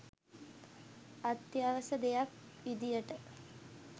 අත්‍යාවශ්‍ය දෙයක් විදියට